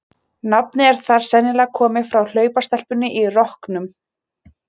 Nafnið er þar sennilega komið frá hlaupastelpunni í rokknum.